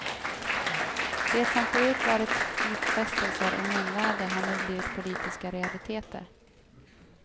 Det som förut varit utfästelser och munväder har nu blivit politiska realiteter.